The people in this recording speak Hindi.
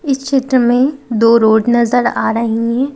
इस क्षेत्र में दो रोड न जर आ रहे हैं।